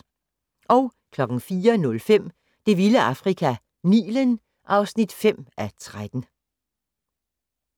04:05: Det vilde Afrika - Nilen (5:13)